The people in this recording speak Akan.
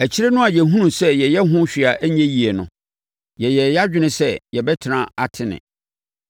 Akyire no a yɛhunuu sɛ yɛyɛ ho hwee a ɛnyɛ yie no, yɛyɛɛ yɛn adwene sɛ yɛbɛtena Atene.